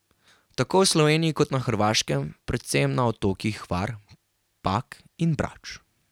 Tako v Sloveniji kot na Hrvaškem, predvsem na otokih Hvar, Pag in Brač.